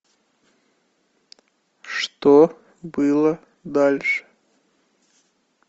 что было дальше